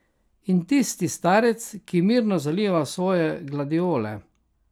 In tisti starec, ki mirno zaliva svoje gladiole.